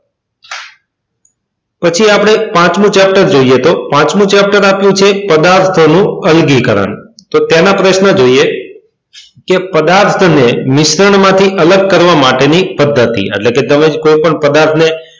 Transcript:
પછી આપણે પાંચમું ચેપ્ટર જોઈએ તો પાંચમું ચેપ્ટર આપ્યું છે પદાર્થોનું અલગીકરણ. તો તેના પ્રશ્ન જોઈએ કે પદાર્થ ની મિશ્રણ માંથી અલગ કરવાની પદ્ધતિ એટલે કે તમે કોઈ પણ પદાર્થ,